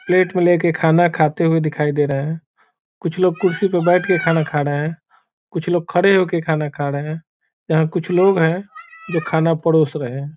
Plate में ले के खाना खाते हुए दिखाई दे रहे हैं कुछ लोग कुर्सी पर बैठ के खाना खा रहे हैं कुछ लोग खड़े हो के खाना खा रहे हैं यहाँ कुछ लोग हैं जो खाना परोस रहे हैं।